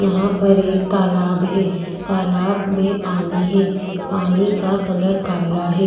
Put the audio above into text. यहाँ पर एक तालाब है तालाब में पानी है पानी का कलर काला है।